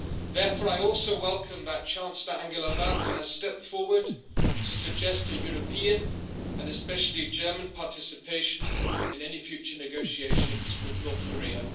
Therefore, I also welcome that Chancellor Angela Merkel has stepped forward to suggest a European and especially German participation in any future negotiations with North Korea.